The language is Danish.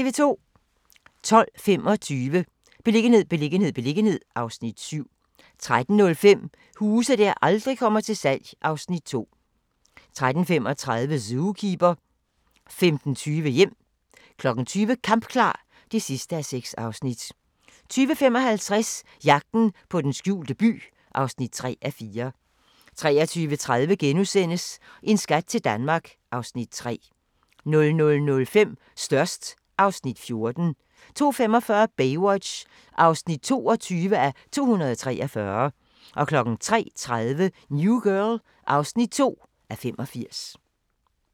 12:25: Beliggenhed, beliggenhed, beliggenhed (Afs. 7) 13:05: Huse der aldrig kommer til salg (Afs. 2) 13:35: Zookeeper 15:20: Hjem 20:00: Kampklar (6:6) 20:55: Jagten på den skjulte by (3:4) 23:30: En skat til Danmark (Afs. 3)* 00:05: Størst (Afs. 14) 02:45: Baywatch (22:243) 03:30: New Girl (2:85)